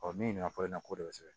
min ɲininkali in na kɔɔri sɛbɛn